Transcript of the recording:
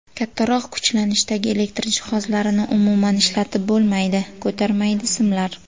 Kattaroq kuchlanishdagi elektr jihozlarini umuman ishlatib bo‘lmaydi, ko‘tarmaydi simlar.